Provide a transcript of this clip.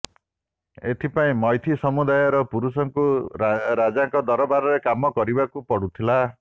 ଏଥିପାଇଁ ମୈଥି ସମୁଦାୟର ପୁରୁଷଙ୍କୁ ରାଜାଙ୍କ ଦରବାରରେ କାମ କରିବାକୁ ପଡୁଥିଲା